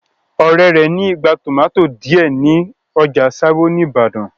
Ọ̀rẹ́ rẹ̀ ní igbá tòmátì díẹ̀ ní ọjà sábó ní ìbàdàn.